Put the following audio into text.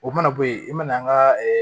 O mana bɔ yen i mana an ka